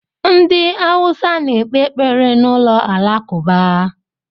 Ndị Awụsa na-ekpe ekpere n'ụlọ alakụba.